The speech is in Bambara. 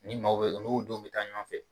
Ni maaw bɛ u n'o dɔ bɛ taa ɲɔgɔn fɛ.